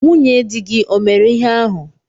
Nwunye dị gi ọ mere ihe ahụ?